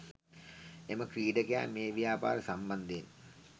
එම ක්‍රීඩකයා මේ ව්‍යාපාරය සම්බන්ධයෙන්